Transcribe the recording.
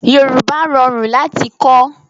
Yorùbá rorun lati kọ̀